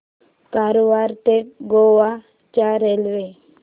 कारवार ते गोवा च्या रेल्वे